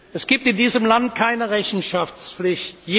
Es gibt in diesem Land keine Rechenschaftspflicht.